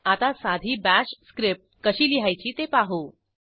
आता साधी bash script कशी लिहायची ते पाहू